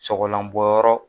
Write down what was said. Sɔgɔlanbɔ yɔrɔ